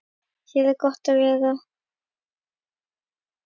Hér er gott að vera.